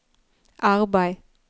arbeid